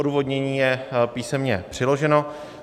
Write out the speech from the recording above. Odůvodnění je písemně přiloženo.